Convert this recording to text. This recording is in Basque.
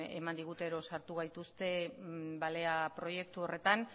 eman digute edo sartu gaituzte balea proiektu horretan